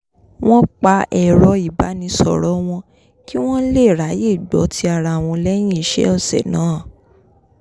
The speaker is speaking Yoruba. wọ́n pa ẹ̀rọ ìbánisọ̀rọ̀ wọn kí wọ́n lè ráyè gbọ́ ti ara wọn lẹ́yìn iṣẹ́ ọ̀sẹ̀ náà